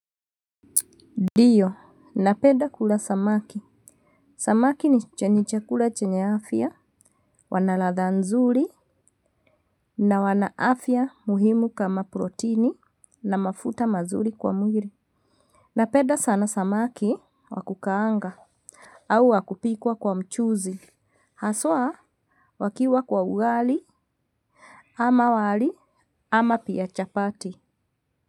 Diyo, napeda kula samaki. Samaki ni che ni chakula chenye afya, wanaladha nzuri, na wana afya muhimu kama protini, na mafuta mazuri kwa mwiri. Napeda sana samaki wa kukaanga, au wa kupikwa kwa mchuzi, haswa wakiwa kwa ugali, ama wali, ama pia chapati.